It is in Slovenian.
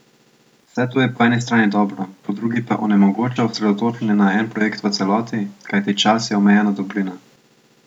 Vse to je po eni strani dobro, po drugi pa onemogoča osredotočenje na en projekt v celoti, kajti čas je omejena dobrina.